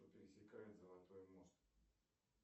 пересекает золотой мост